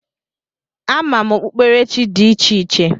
A ma m okpuerechi dị icheiche